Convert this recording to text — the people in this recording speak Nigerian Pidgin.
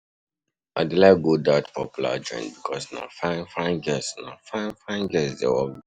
I dey like go dat popular joint because na fine-fine girls na fine-fine girls dey work there.